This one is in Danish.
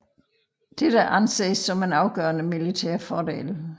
Dette anses som en afgørende militær fordel